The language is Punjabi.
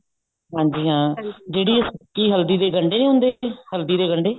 ਹਾਂਜੀ ਹਾਂ ਜਿਹੜੀ ਸੁੱਕੀ ਹਲਦੀ ਦੇ ਗੰਡੇ ਨਹੀਂ ਹੁੰਦੇ ਹਲਦੀ ਦੇ ਗੰਡੇ